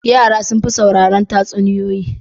Yara sun fi sauraron tatsuniyoyi.